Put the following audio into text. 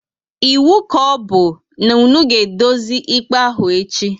Ịwu ka ọbụ na-unu ga edozi ikpe ahụ echi!